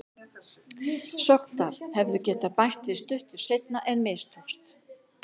Sogndal hefðu getað bætt við stuttu seinna en mistókst.